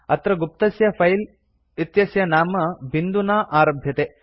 अत्र गुप्तस्य फिले इत्यस्य नाम बिन्दुना आरभ्यते